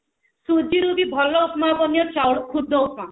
ସୁଜିରୁ ବି ଭଲ ଉପମା ବନିବ ଚାଉଳ ଖୁଦ ଉପମା